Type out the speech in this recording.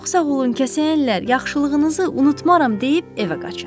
Çox sağ olun kəsəyənlər, yaxşılığınızı unutmaram deyib evə qaçır.